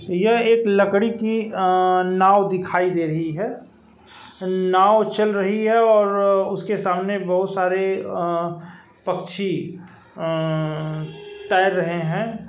यह एक लकड़ी की अ नांव दिखाई दे रही है | नांव चल रही है और उसके सामने बोहोत सारे आ पक्षी अं तैर रहें हैं।